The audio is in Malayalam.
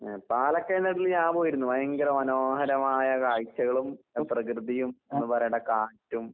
ഏഹ് പാലക്കയം തട്ടില് ഞാൻ പോയിരുന്നു. ഭയങ്കര മനോഹരമായ കാഴ്ച്ചകളും എഹ് പ്രകൃതിയും എന്താ പറയേണ്ടേ കാറ്റും